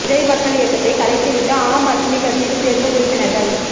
விஜய் மக்கள் இயக்கத்தை கலைத்துவிட்டு ஆம் ஆத்மி கட்சியில் சேர்ந்த உறுப்பினர்கள்